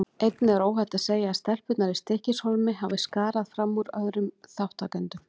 Einnig er óhætt að segja að stelpurnar í Stykkishólmi hafi skarað fram úr öðrum þátttakendum.